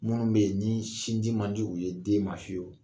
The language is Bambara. Minnu bɛ yen, ni sinji man di u ye den ma fiyewu.